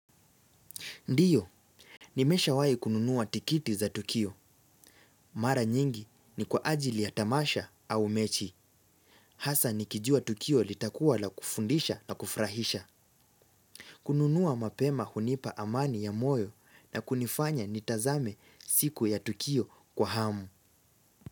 Ndiyo, nimeshawai kununua tikiti za tukio. Mara nyingi ni kwa ajili ya tamasha au mechi. Hasa nikijua tukio litakuwa la kufundisha na kufurahisha. Kununua mapema hunipa amani ya moyo na kunifanya nitazame siku ya tukio kwa hamu.